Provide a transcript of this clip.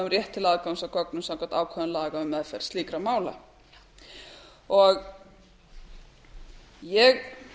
rétt til aðgangs að gögnum samkvæmt ákvæðum laga um meðferð slíkra mála eins og ég